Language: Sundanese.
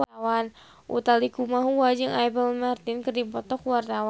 Utha Likumahua jeung Apple Martin keur dipoto ku wartawan